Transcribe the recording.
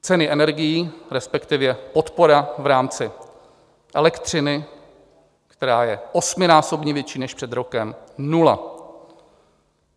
Ceny energií, respektive podpora v rámci elektřiny, která je osminásobně větší než před rokem - nula.